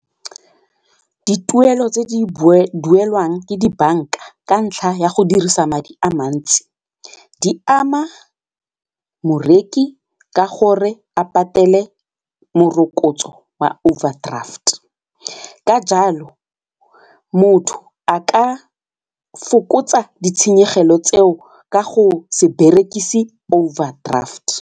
Dituelo tse di duelwang ke dibanka ka ntlha ya go dirisa madi a mantsi di ama moreki ka gore a patele morokotso wa overdraft ka jalo motho a ka fokotsa ditshenyegelo tseo ka go se berekise overdraft.